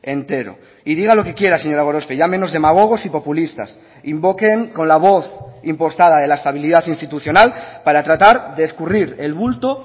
entero y diga lo que quiera señora gorospe llámenos demagogos y populistas invoquen con la voz impostada de la estabilidad institucional para tratar de escurrir el bulto